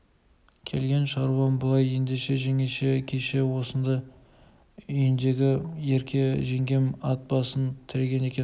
келген шаруам былай ендеше жеңеше кеше осында үйіндегі ерке жеңгем ат басын тіреген екен